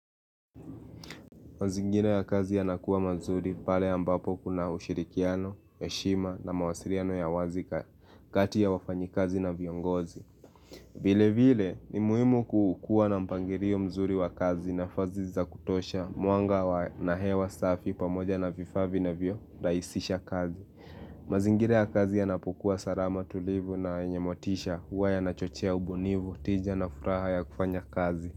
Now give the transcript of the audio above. Mazingira ya kazi yanakuwa mazuri pale ambapo kuna ushirikiano, heshima na mawasiliano ya wazi ka kati ya wafanyi kazi na viongozi. Vile vile ni muhimu kukuwa na mpangilio mzuri wa kazi nafasi za kutosha mwanga na hewa safi pamoja na vifa vinavyo rahisisha kazi. Mazingira ya kazi yanapokuwa salama tulivu na yenye motisha huwa yanachochea ubunifu tija na furaha ya kufanya kazi.